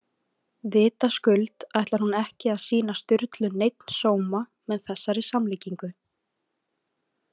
Vitaskuld ætlar hún ekki að sýna Sturlu neinn sóma með þessari samlíkingu.